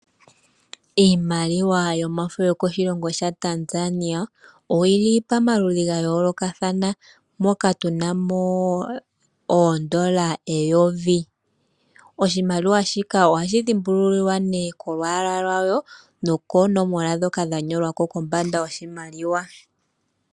Iimaliwa yomafo yokoshilongo shaTanzania oyili pamaludhi gayoolokathana moka tuna mo oondola eyovi. Oshimaliwa shika ohashi dhimbululilwa nee kolwaala lwasho nokoonomola dhoka dhanolwa ko kombanda yoshimaliwa.